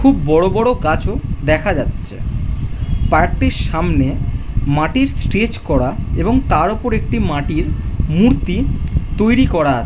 খুব বড় বড় গাছও দেখা যাচ্ছে । পার্ক - টির সামনে মাটির স্টেজ করা এবং তার উপর একটি মাটির মূর্তি তৈরি করা আ--